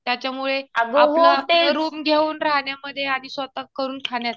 त्याच्यामुळं आपलं आपलं रुम घेऊन राहण्यामध्ये आणि स्वतः करून खाण्यात